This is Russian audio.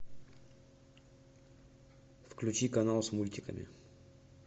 включи канал с мультиками